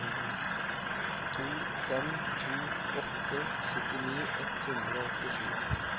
to fem to åtte syttini ett hundre og åttisju